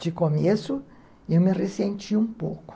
De começo, eu me ressenti um pouco.